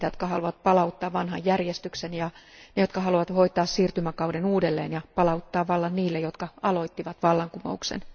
Niitä, jotka haluavat palauttaa vanhan järjestyksen, ja ne, jotka haluavat hoitaa siirtymäkauden uudelleen ja palauttaa vallan niille, jotka aloittivat vallankumouksen.